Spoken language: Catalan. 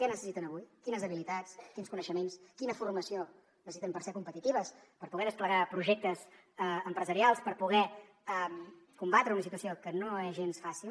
què necessiten avui quines habilitats quins coneixements quina formació necessiten per ser competitives per poder desplegar projectes empresarials per poder combatre una situació que no és gens fàcil